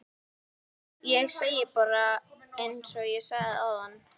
Ég segi bara einsog ég sagði áðan